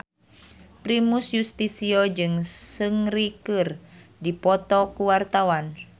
Primus Yustisio jeung Seungri keur dipoto ku wartawan